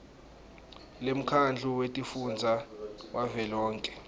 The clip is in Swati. lemkhandlu wetifundza wavelonkhe